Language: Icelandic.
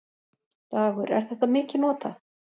Dagur: Er þetta mikið notað?